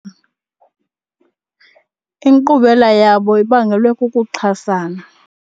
Inkqubela yabo ibangelwe kukuxhasana.